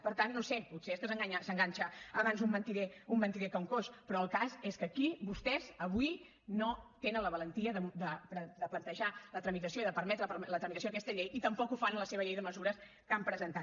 per tant no ho sé potser és que s’enganxa abans un mentider que un coix però el cas és que aquí vostès avui no tenen la valentia de plantejar la tramitació i de permetre la tramitació d’aquesta llei i tampoc ho fan a la seva llei de mesures que han presentat